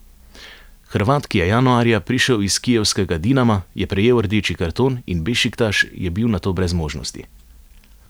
Hrvat, ki je januarja prišel iz kijevskega Dinama, je prejel rdeči karton in Bešiktaš je bil nato brez možnosti.